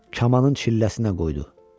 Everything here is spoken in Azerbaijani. Kamanın çilləsinə qoydu.